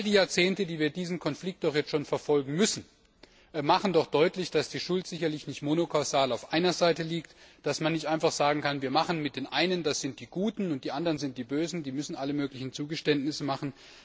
All die Jahrzehnte, die wir diesen Konflikt nun schon verfolgen müssen, machen doch deutlich, dass die Schuld sicherlich nicht monokausal auf einer Seite liegt, dass man nicht einfach sagen kann Die einen sind die Guten, und die anderen sind die Bösen, die müssen alle möglichen Zugeständnisse machen.